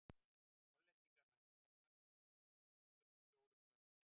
Hollendingar mæta Norðmönnum einnig fjórum dögum síðar.